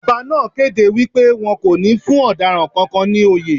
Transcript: Ọba náà kéde wípé won kò ní fún ọ̀daràn kankan ní oyè.